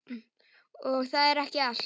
Og það er ekki allt.